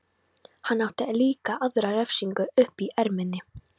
Hann átti líka aðra refsingu uppi í erminni.